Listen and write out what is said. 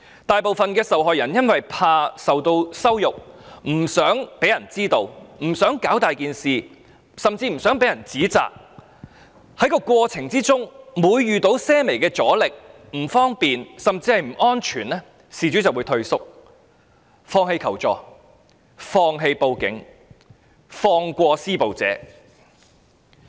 大部分受害人因為害怕受到羞辱、不想別人知道、不想把事情鬧大甚或不想被人指責，每每在過程中遇到些微阻力、不方便甚或不安全時，便會退縮、放棄求助、放棄報案及放過施暴者。